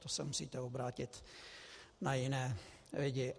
To se musíte obrátit na jiné lidi.